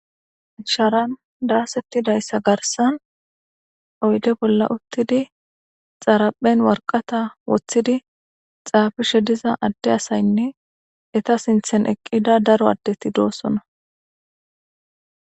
sharan daasettidayssa garsan oyde bolla uttidi xaraphen warqata woththidi xaafishe diza adde asaynne eta sinthen eqqida daro addeti doosona